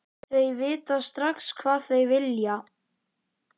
Þau vita strax hvað þau vilja.